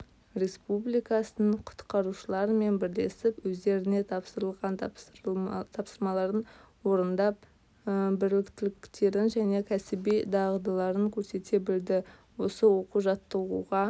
республикасының құтқарушыларымен бірлесіп өздеріне тапсырылған тапсырмаларын орындап біліктіліктерін және кәсіби дағдыларын көрсете білді осы оқу-жаттығуға